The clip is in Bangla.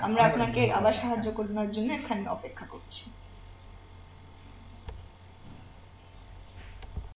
আমি আপনাকে আবার সাহায্য করবার জন্যে এখানে অপেক্ষা করছি